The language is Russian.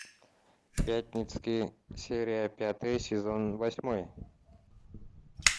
пятницкий серия пятая сезон восьмой